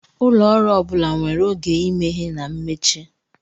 Ụlọ ọrụ ọ bụla nwere oge imeghe na mmechi.